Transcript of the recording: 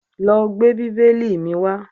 Lọ gbé bíbélì mi wá